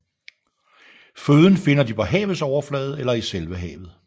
Føden finder de på havets overflade eller i selve havet